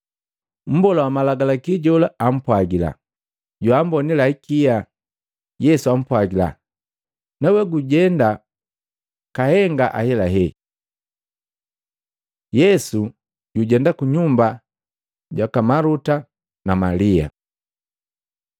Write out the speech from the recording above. Mbola wa Malagalaki jola ampwagila, “Joambonila hikia.” Yesu ampwagila, “Nawe gujenda kahenga ahelahela.” Yesu jujenda ku nyumba jaka Maluta na Malia